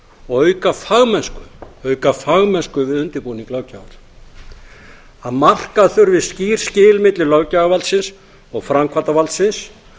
og auka fagmennsku við undirbúning löggjafar að marka þurfi skýr skil milli löggjafarvaldsins og framkvæmdarvaldsins